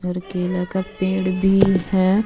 और केला का पेड़ भी हे.